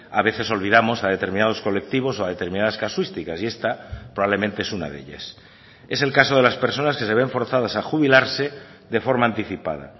a veces olvidamos a determinados colectivos o a determinadas casuísticas y esta probablemente es una de ellas es el caso de las personas que se ven forzadas a jubilarse de forma anticipada